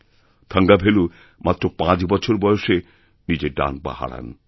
থঙ্গাভেলু মাত্র পাঁচ বছর বয়সে নিজের ডান পা হারান